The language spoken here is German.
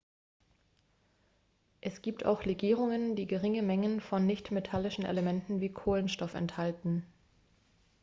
es gibt auch legierungen die geringe mengen von nichtmetallischen elementen wie kohlenstoff enthalten